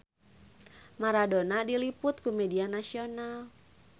Maradona diliput ku media nasional